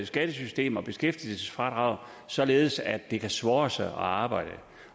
skattesystem og beskæftigelsesfradrag således at det ka swåre sæ at arbejde